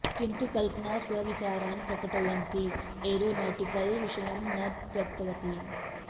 किन्तु कल्पना स्वविचारान् प्रकटयन्ती एरोनॉटिकल् विषयं न त्यक्तवती